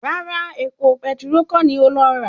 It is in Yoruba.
Rárá, epo petiró kọ́ ni ó lọ rà